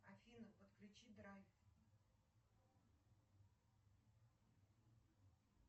афина подключи драйв